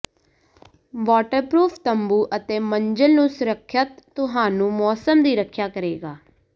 waterproof ਤੰਬੂ ਅਤੇ ਮੰਜ਼ਿਲ ਨੂੰ ਸੁਰੱਖਿਅਤ ਤੁਹਾਨੂੰ ਮੌਸਮ ਦੀ ਰੱਖਿਆ ਕਰੇਗਾ